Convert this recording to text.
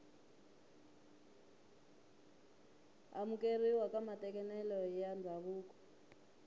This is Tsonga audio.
amukeriwa ka matekanelo ya ndzhavuko